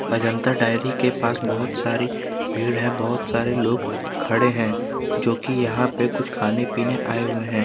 Ajanta dairy के पास बहोत सारी भीड़ है बहुत सारे लोग खड़े हैं जोकि यहां पे कुछ खाने पीने आए हुए हैं।